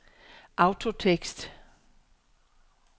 autotekst